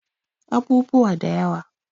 Abubuwa da yawa